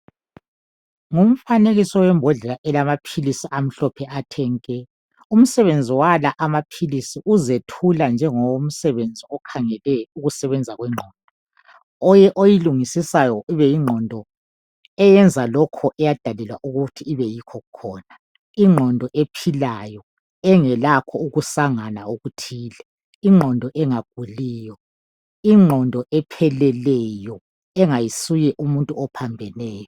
Ngufanekiso webhodlela elamaphilisi amhlophe athe nke umsebenzi wala amaphilisi yikuzethula ngomsebenzi okhangeleyo ukusebenza kwengqondo oyilingisisayo kubeyingqondo eyenza lokhu eyendalelwa ukuthi kube yikho khona ingqondo ephilayo engelakho ukusangana okuthile ingqondo engaguliyo ingqondo epheleleyo engayisiyo umuntu ophambeneyo.